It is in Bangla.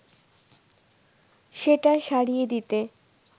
সেটা সারিয়ে দিতে